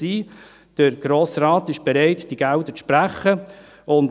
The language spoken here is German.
Der Grosse Rat ist bereit, diese Gelder zu sprechen.